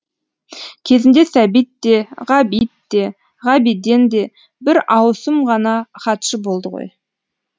кезінде сәбит те ғабит те ғабиден де бір ауысым ғана хатшы болды ғой